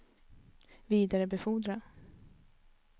vidarebefordra